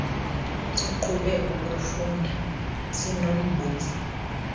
siqhube ukuufunda sinombuzo